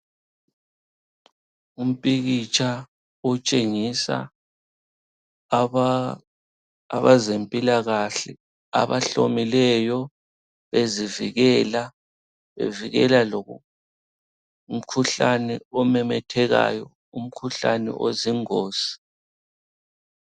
Umpikitsha otshengisa abezempilakahle abahlomileyo bezivikela, bevikela lomkhuhlane omemethekayo, umkhuhlane ozingozi.